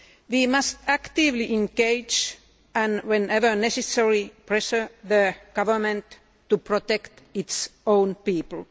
We must actively engage and, whenever necessary, pressure the government to protect its own people.